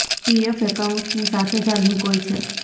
PF એકાઉન્ટની સાથે જ આ લિંક હોય છે